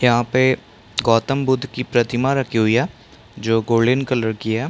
यहाँ पे गौतमबुद्ध की प्रतिमा रखी हुई है जो गोल्डन कलर की है।